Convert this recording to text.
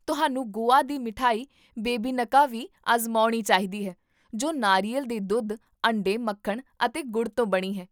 ਤੁਹਾਨੂੰ ਗੋਆ ਦੀ ਮਠਿਆਈ ਬੇਬੀਨਕਾ ਵੀ ਅਜ਼ਮਾਉਣੀ ਚਾਹੀਦੀ ਹੈ ਜੋ ਨਾਰੀਅਲ ਦੇ ਦੁੱਧ, ਅੰਡੇ, ਮੱਖਣ ਅਤੇ ਗੁੜ ਤੋਂ ਬਣੀ ਹੈ